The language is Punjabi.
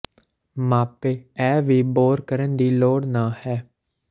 ਮਾਪੇ ਇਹ ਵੀ ਬੋਰ ਕਰਨ ਦੀ ਲੋੜ ਨਹ ਹੈ